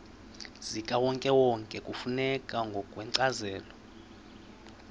zikawonkewonke kufuneka ngokwencazelo